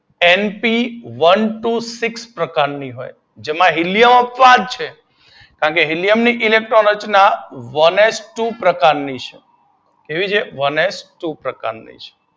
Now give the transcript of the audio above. NP one two six પ્રકારની તેમાં helium પણ કેમ કે હીલિયમ ની ઇલેકટ્રોન રચના વનએચ ટુ પ્રકારની